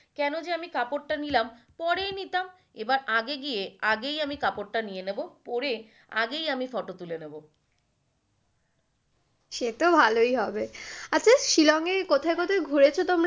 কেন যে আমি কাপড়টা নিলাম পরেই নিতাম, এবার আগে গিয়ে আগেই আমি কাপড় টা নিয়ে নেবো পরে আগেই আমি photo তুলে নেবো। সে তো ভালই হবে আচ্ছা শিলংয়ের কোথায় কোথায় ঘুরেছো তোমরা?